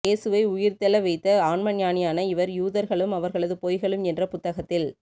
ஏசுவை உயிர்த்தெழ வைத்த ஆன்மஞானியான இவர் யூதர்களும் அவர்களது பொய்களும் என்ற புத்தகத்தில்